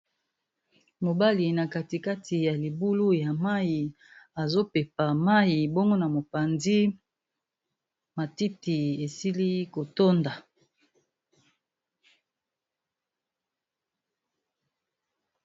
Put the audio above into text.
Mobali na kati kati ya libulu ya mayi azopepa mayi bongo na mopanzi matiti esili kotonda.